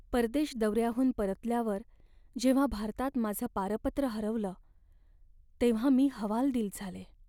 परदेश दौऱ्याहून परतल्यावर जेव्हा भारतात माझं पारपत्र हरवलं तेव्हा मी हवालदिल झाले.